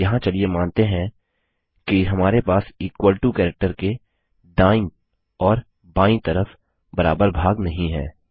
यहाँ चलिए मानते हैं कि हमारे पास इक्वल टो कैरेक्टर के दायीं और बायीं तरफ बराबर भाग नहीं है